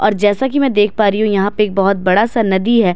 और जैसा कि मैं देख पा रही हूं यहां पे एक बहोत बड़ा सा नदी है।